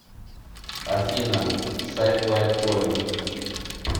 афина сайт лайткоин